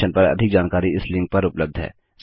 इस मिशन पर अधिक जानकारी इस लिंक पर उपलब्ध है